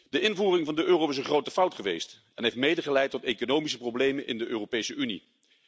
De invoering van de euro is een grote fout geweest en heeft mede geleid tot economische problemen in de Europese Unie.